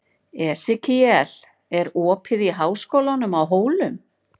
Esekíel, er opið í Háskólanum á Hólum?